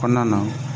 Kɔɔna na